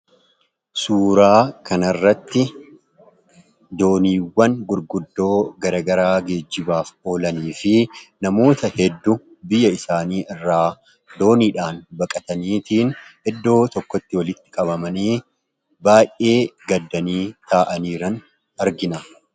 Suuraa kana irratti dooniiwwan gurguddoo garagaraa geejjibaaf oolanii fi namoota hedduu biyya isaanii irraa dooniidhaan baqataniitiin eddoo tokkotti walitti qabamanii baay'ee gaddanii taa'an irra argina.